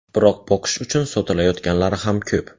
Biroq boqish uchun sotilayotganlari ham ko‘p.